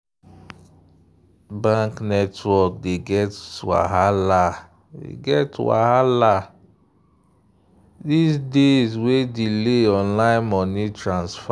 bank network dey get wahala get wahala these days wey delay online money transfer.